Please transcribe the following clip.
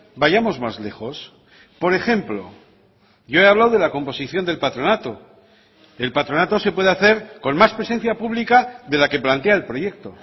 vayamos más lejos por ejemplo yo he hablado de la composición del patronato el patronato se puede hacer con más presencia pública de la que plantea el proyecto